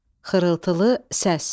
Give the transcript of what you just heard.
Xırıltılı səs.